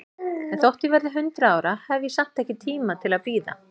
En þótt ég verði hundrað ára, hef ég samt ekki tíma til að bíða.